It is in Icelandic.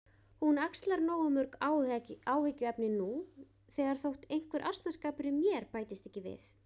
Hún axlar nógu mörg áhyggjuefni nú þegar þótt einhver asnaskapur í mér bætist ekki við